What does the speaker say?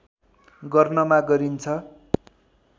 गर्नमा गरिन्छ